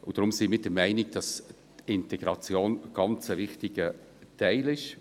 Deshalb sind wir der Meinung, dass Integration ein ganz wichtiger Teil ist.